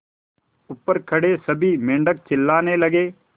ऊपर खड़े सभी मेढक चिल्लाने लगे